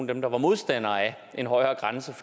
dem der var modstandere af en højere grænse